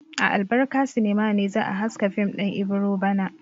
A Albarka sinima ne za a haska fim din Ibiro bana.